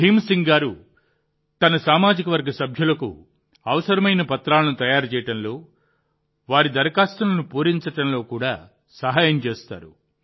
భీమ్ సింగ్ గారు తన సామాజికవర్గ సభ్యులకు అవసరమైన పత్రాలను తయారు చేయడంలో వారి దరఖాస్తులను పూరించడంలో కూడా సహాయం చేస్తారు